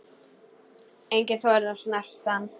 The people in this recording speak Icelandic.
Enginn þorir að snerta hann.